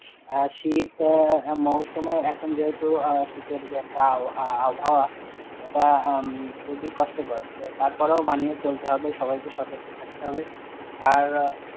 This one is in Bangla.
হ্যাঁ শীত মুরসুম এ এখন যেহেতু, শীতের যে একটা আব~আবহাওয়া, এটা খুবই কষ্টকর, তারপর ও মানিয়ে চলতে হবে, সবাই কে সতর্ক থাকতে হবে আর.